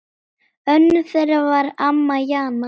Önnur þeirra var amma Jana.